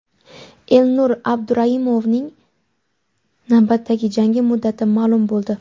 Elnur Abduraimovning navbatdagi jangi muddati ma’lum bo‘ldi.